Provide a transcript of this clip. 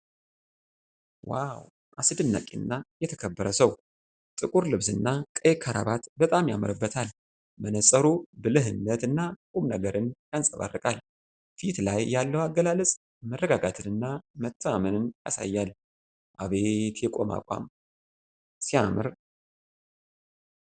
ዋው! አስደናቂ እና የተከበረ ሰው። ጥቁር ልብስ እና ቀይ ክራባት በጣም ያምርበታል። መነፅሩ ብልህነት እና ቁምነገርን ያንፀባርቃል። ፊት ላይ ያለው አገላለፅ መረጋጋትን እና መተማመንን ያሳያል። አቤት የቆመ አቋም! ሲያምር!